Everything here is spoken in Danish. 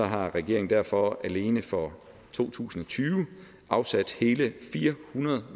har regeringen derfor alene for to tusind og tyve afsat hele fire hundrede